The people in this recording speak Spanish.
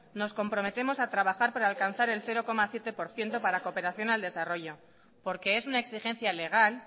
nos comprometemos a trabajar para alcanzar el cero coma siete por ciento para cooperación al desarrollo porque es una exigencia legal